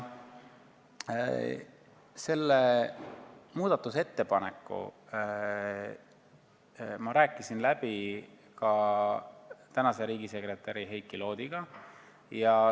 Selle muudatusettepaneku ma rääkisin läbi tänase riigisekretäri Heiki Loodiga.